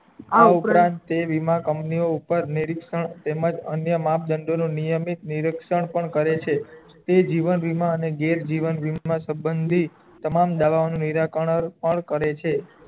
આ ઉપરાંત તે વી મા company ઉપર નિરીક્ષણ તેમજ અન્ય માપ દંડો ના નિયમિત નિરીક્ષણ પણ કરે છે તે જીવના વીમા અને ઘેર જીવન બીમા સંબંધી તમામ દવાનું નીરાકારનાર પણ કરે છે